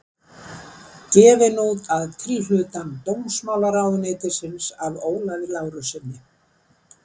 Gefin út að tilhlutan dómsmálaráðuneytisins af Ólafi Lárussyni.